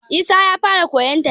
Isa ya fara koyon tafiya